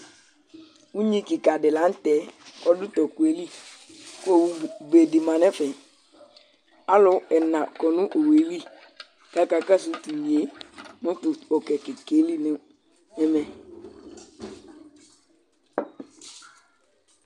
unyi Kika di laŋtɛ, ɔdu tɔkuɛlikʋ owu bedi manɛfɛAlu ɛna kɔnʋ owelikakakɔsu tinye